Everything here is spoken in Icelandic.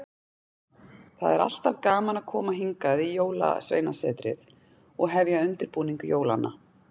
Það er alltaf gaman að koma hingað í Jólasveinasetrið og hefja undirbúning jólanna.